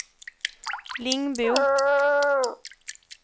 Lingbo